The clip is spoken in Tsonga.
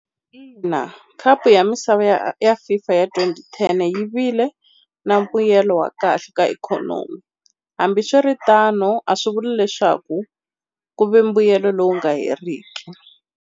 Ina khapu ya misava ya Fifa ya twenty ten yi vile na mbuyelo wa kahle ka ikhonomi hambiswiritano a swi vuli leswaku ku ve mbuyelo lowu nga heriki.